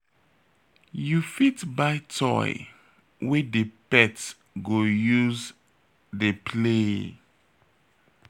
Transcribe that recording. You fit buy toy wey di pet go use dey play